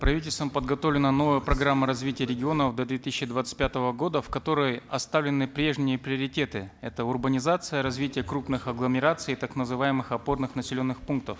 правительством подготовлена новая программа развития регионов до две тысячи двадцать пятого года в которой оставлены прежние приоритеты это урбанизация развитие крупных агломераций и так называемых опорных населенных пунктов